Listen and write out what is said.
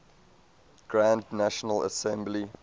grand national assembly